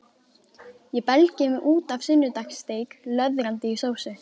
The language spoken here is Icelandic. Ég belgi mig út af sunnudagssteik, löðrandi í sósu.